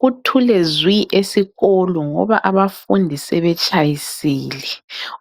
Kuthule zwi esikolo ngoba abafundi sebetshayisile.